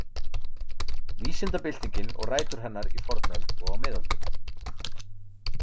Vísindabyltingin og rætur hennar í fornöld og á miðöldum.